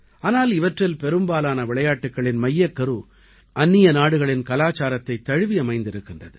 ஆனால் இவற்றில் பெரும்பாலான விளையாட்டுக்களின் மையக்கரு அந்நிய நாடுகளின் கலாச்சாரத்தைத் தழுவி அமைந்திருக்கின்றது